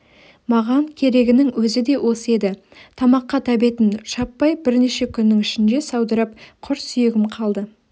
маған керегінің өзі де осы еді тамаққа тәбетім шаппай бірнеше күннің ішінде саудырап құр сүйегім қалды